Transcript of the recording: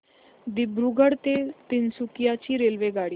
दिब्रुगढ ते तिनसुकिया ची रेल्वेगाडी